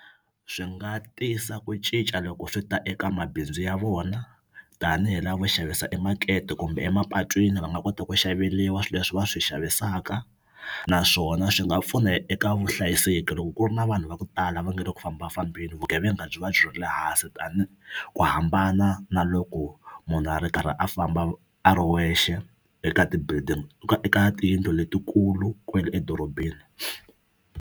Swi nga tisa ku cinca loko swi ta eka mabindzu ya vona tanihi lavo xavisa emakete kumbe emapatwini va nga kota ku xaveriwa swi leswi va swi xavisaka naswona swi nga pfuna eka vuhlayiseki loko ku ri na vanhu va ku tala va nge le ku fambafambeni vugevenga byi va byi ri le hansi tani ku hambana na loko munhu a ri karhi a famba a ri wexe eka ti-building eka tiyindlu letikulu kwele edorobeni.